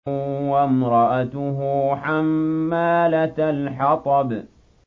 وَامْرَأَتُهُ حَمَّالَةَ الْحَطَبِ